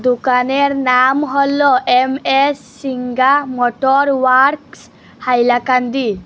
দোকানের নাম হল M S Singha motor works Hailakandi.